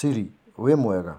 Siri wĩmwega,